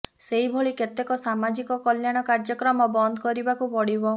ସେଇଭଳି କେତେକ ସାମାଜିକ କଲ୍ୟାଣ କାର୍ଯ୍ୟକ୍ରମ ବନ୍ଦ କରିବାକୁ ପଡ଼ିବ